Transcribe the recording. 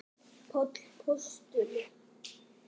Páll postuli?